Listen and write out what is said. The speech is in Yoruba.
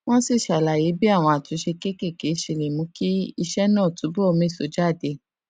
wón sì ṣàlàyé bí àwọn àtúnṣe kéékèèké ṣe lè mú kí iṣé náà túbò méso jáde